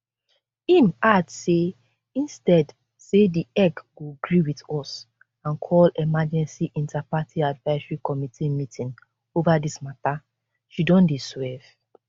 im add say instead say di ec go gree wit us and call emergency interparty advisory committee meeting ova dis mata she don dey swerve